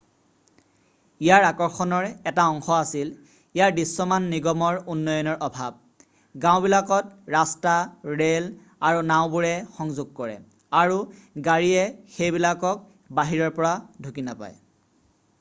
ইয়াৰ আকৰ্ষণৰ এটা অংশ আছিল ইয়াৰ দৃশ্যমান নিগমৰ উন্নয়নৰ অভাৱ গাওঁবিলাকক ৰাস্তা ৰে'ল আৰু নাওঁবোৰে সংযোগ কৰে আৰু গাড়ীয়ে সেইবিলাকক বাহিৰৰ পৰা ঢুকি নাপায়